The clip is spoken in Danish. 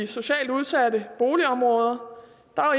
socialt udsatte boligområder